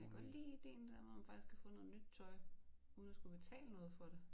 Jeg kan godt lide ideen dér med at man faktisk kan få noget nyt tøj uden at skulle betale for det